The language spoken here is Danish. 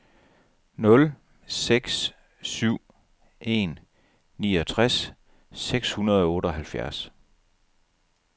nul seks syv en niogtres seks hundrede og otteoghalvfjerds